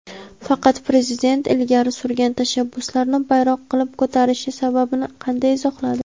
faqat prezident ilgari surgan tashabbuslarni bayroq qilib ko‘tarishi sababini qanday izohladi?.